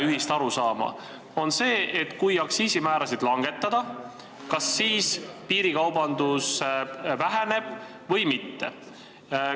Ühist arusaama ei ole selles, et kui aktsiisimäärasid langetada, kas piirikaubandus siis väheneb või mitte.